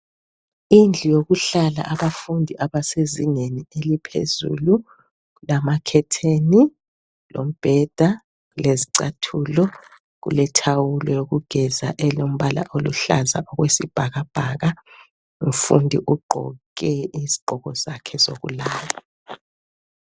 Indlu yokuhlala abafundi bezingeni eliphezulu lamakhetheni lombheda lezicathulo kulothawulo lokugeza elombala oluhlaza okwesibhakabhaka umfundi ugqoke isigqoko sakhe sokulala